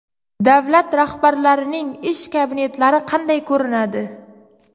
Davlat rahbarlarining ish kabinetlari qanday ko‘rinadi?